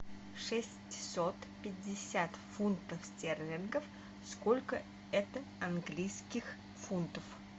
шестьсот пятьдесят фунтов стерлингов сколько это английских фунтов